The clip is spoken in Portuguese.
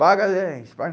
Paga dez! Vai